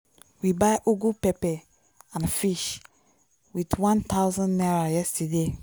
we buy ugu pepper and fish with one thousand naira yesterday.